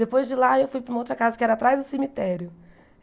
Depois de lá eu fui para uma outra casa, que era atrás do cemitério.